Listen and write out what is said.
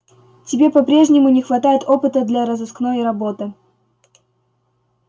тебе по-прежнему не хватает опыта для розыскной работы